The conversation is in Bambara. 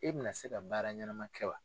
E bɛna se ka baara ɲɛnama kɛ wa?